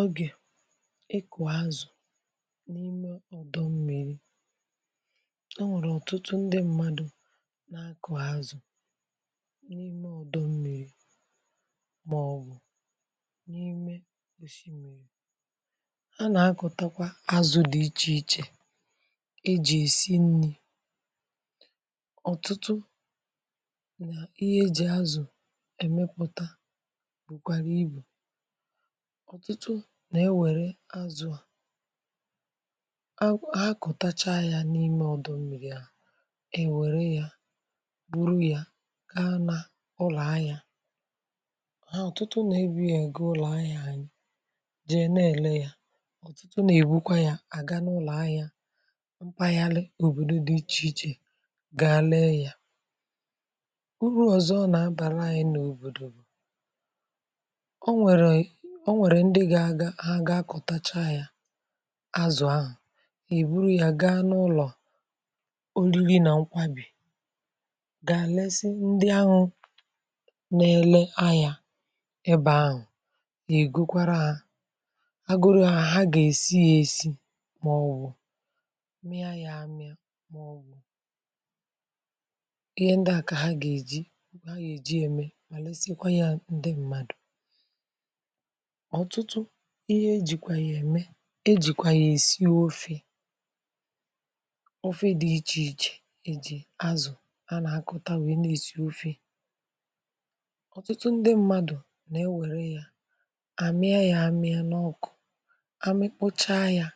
Ọgè ịkụ̀ azụ̀ n’ime ọdọ̀ mmi̇ri um, o nwèrè ọ̀tụtụ ndị mmadụ̀ nà-akọ̀ ha azụ̀ n’ime ọdọ̀ mmi̇ri, màọ̀bụ̀ n’ime osimiri̇. A nà-akọ̀takwa azụ̀ dị iche iche, e jì èsi nni̇ ọ̀tụtụ… nà ihe e jì azụ̀ èmepụ̀ta, um, ọ̀tụtụ. Nà-ewèrè azụ̀ a, ha kọ̀tacha ya n’ime ọdọ̀ mìrì, yà è wère ya, bụ̀rụ ya gaa n’ụlọ̀ ànya ha. Ọ̀tụtụ nà-ebi ègo… ụlọ̀ ànya jee na-èlè ya. Ọ̀tụtụ nà-èbukwa ya, àga n’ụlọ̀ ànya. Mpụta ya Leė, òbòdo dị iche iche gà lè ya. Urù ọ̀zọ nà-abàla anyị n’òbòdò bụ̀, o nwèrè ndị gà-akọ̀tacha ya azụ̀ ahụ̀. Ì bụrụ ya, gà n’ụlọ̀ olili nà nkwabì gà àlesi ndị ahụ̇ nà-èlè anya. Ebe ahụ̀, gà ì gukwara a A gụrụ ha, gà èsi ya, èsi, màọ̀bụ̀ mee ya yà àmịa, màọ̀bụ̀ ihe ndị a kà ha gà èji. Ha gà èji ya mee… mà lesekwa ya. Ndị mmadụ̀ ọ̀tụtụ, ihe ejìkwà ya ème: ejìkwà ya èsi ofe ofe dị̇ iche iche, ejì azụ̀ a nà-akọ̀ta, nweè na-èsi ofe. Ọ̀tụtụ ndị mmadụ̀ nà-ewèrè ya àmịa, ya àmịa n’ọkụ, àmịkpụcha ya, yà